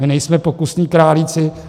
My nejsme pokusní králíci.